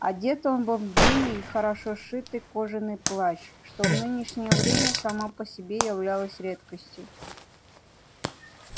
одет он был в длинный и хорошо сшитый кожаный плащ что в нынешнее время само по себе являлось редкостью